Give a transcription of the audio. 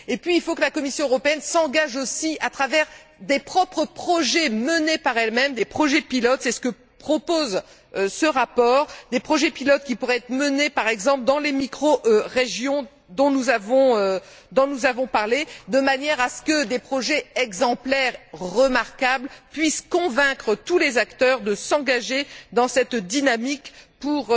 Puis il faut que la Commission européenne s'engage aussi à travers des projets propres, menés par elle même, des projets pilotes c'est ce que propose ce rapport qui pourraient être menés, par exemple, dans les microrégions dont nous avons parlé, de manière à ce que des projets exemplaires, remarquables, puissent convaincre tous les acteurs de s'engager dans cette dynamique pour